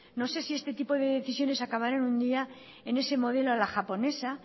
no sé si este tipo de decisiones acabará algún día en ese modelo a la japonesa